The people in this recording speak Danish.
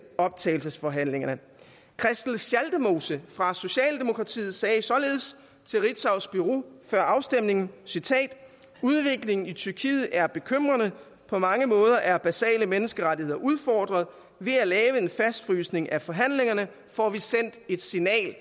optagelsesforhandlingerne christel schaldemose fra socialdemokratiet sagde således til ritzaus bureau før afstemningen udviklingen i tyrkiet er bekymrende på mange måder er basale menneskerettigheder udfordret ved at lave en fastfrysning af forhandlingerne får vi sendt et signal